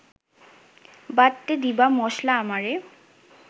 বাটতে দিবা মশলা আমারে